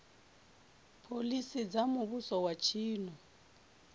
phoḽisi dza muvhuso wa tshino